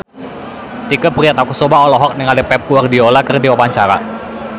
Tike Priatnakusuma olohok ningali Pep Guardiola keur diwawancara